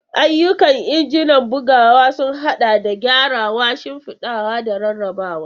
Ayyukan injin bugawa sun haɗa da gyarawa, shimfiɗawa, da rarrabawa.